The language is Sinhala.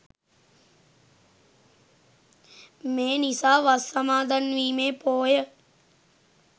මේ නිසා වස් සමාදන්වීමේ පෝය